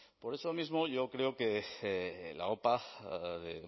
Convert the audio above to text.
por eso mismo yo creo que la opa de